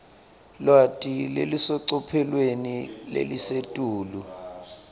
lwati lolusecophelweni lelisetulu